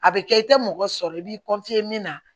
A bɛ kɛ i tɛ mɔgɔ sɔrɔ i b'i min na